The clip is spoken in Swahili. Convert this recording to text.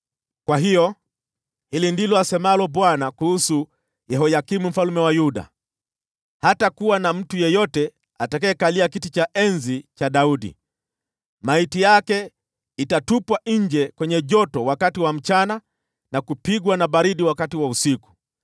Kwa hiyo, hili ndilo asemalo Bwana kuhusu Yehoyakimu mfalme wa Yuda: Hatakuwa na mtu yeyote atakayekalia kiti cha enzi cha Daudi; maiti yake itatupwa nje kwenye joto wakati wa mchana na kupigwa na baridi wakati wa usiku.